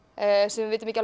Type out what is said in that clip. sem við vitum ekki